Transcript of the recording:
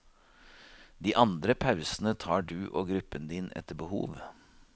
De andre pausene tar du og gruppen din etter behov.